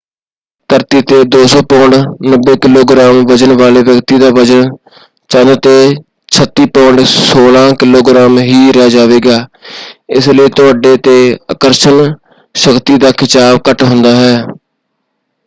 ਧਰਤੀ 'ਤੇ 200 pound 90 kilogram ਵਜ਼ਨ ਵਾਲੇ ਵਿਅਕਤੀ ਦਾ ਵਜ਼ਨ ਚੰਦ 'ਤੇ 36 ਪੌਂਡ 16 ਕਿਲੋਗ੍ਰਾਮ ਹੀ ਰਹਿ ਜਾਵੇਗਾ। ਇਸ ਲਈ ਤੁਹਾਡੇ 'ਤੇ ਆਕਰਸ਼ਣ ਸ਼ਕਤੀ ਦਾ ਖਿਚਾਅ ਘੱਟ ਹੁੰਦਾ ਹੈ।